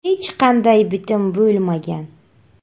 Hech qanday bitim bo‘lmagan.